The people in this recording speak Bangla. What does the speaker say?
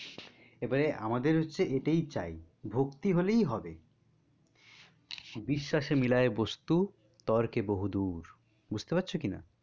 এবার আমাদের হচ্ছে এটাই চাই, ভক্তি হলেই হবে বিশ্বাসে মিলায় বস্তু তর্কে বহুদূর, বুজতে পারছো কিনা?